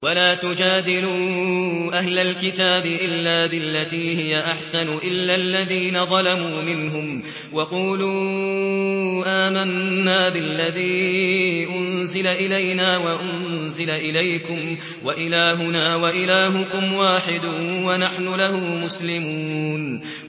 ۞ وَلَا تُجَادِلُوا أَهْلَ الْكِتَابِ إِلَّا بِالَّتِي هِيَ أَحْسَنُ إِلَّا الَّذِينَ ظَلَمُوا مِنْهُمْ ۖ وَقُولُوا آمَنَّا بِالَّذِي أُنزِلَ إِلَيْنَا وَأُنزِلَ إِلَيْكُمْ وَإِلَٰهُنَا وَإِلَٰهُكُمْ وَاحِدٌ وَنَحْنُ لَهُ مُسْلِمُونَ